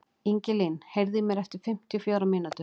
Ingilín, heyrðu í mér eftir fimmtíu og fjórar mínútur.